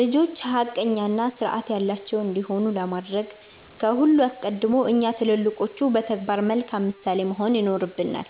ልጆች ሐቀኛና ሥርዓት ያላቸው እንዲሆኑ ለማድረግ ከሁሉ አስቀድሞ እኛ ትልልቆቹ በተግባር መልካም ምሳሌ መሆን ይኖርብናል።